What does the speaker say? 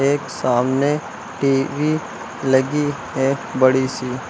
एक सामने टी_वी लगी है बड़ी सी।